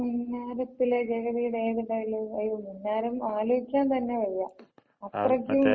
മിന്നാരത്തിലെ ജഗതിടെ ഏത് ഡയലോഗ്? അയ്യോ മിന്നാരം അലോചിക്കാ തന്ന വയ്യ. അത്രക്കും ആ ആളിനെ.